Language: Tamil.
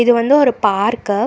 இது வந்து ஒரு பார்க்கு .